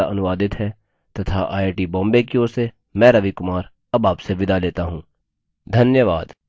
यह स्क्रिप्ट सकीना शेख द्वारा अनुवादित है तथा आईआई टी बॉम्बे की ओर से मैं रवि कुमार अब आपसे विदा लेता हूँ धन्यवाद